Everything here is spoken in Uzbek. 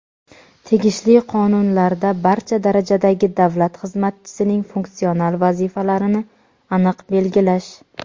tegishli qonunlarda barcha darajadagi davlat xizmatchisining funksional vazifalarini aniq belgilash.